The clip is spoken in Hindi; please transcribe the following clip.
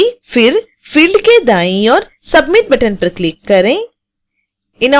फिर field के दाईं ओर submit बटन पर क्लिक करें